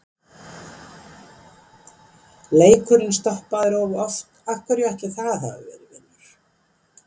Leikurinn stoppaður of oft, af hverju ætli það hafi verið vinur?